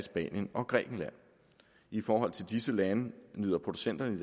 og grækenland i forhold til disse lande møder producenterne